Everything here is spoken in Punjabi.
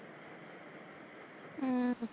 ਅਮ